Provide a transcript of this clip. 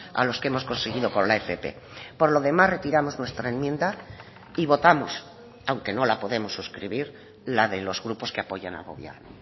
a los que hemos conseguido con la fp por lo demás retiramos nuestra enmienda y votamos aunque no la podemos suscribir la de los grupos que apoyan al gobierno